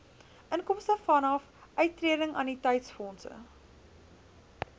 inkomste vanaf uittredingannuïteitsfondse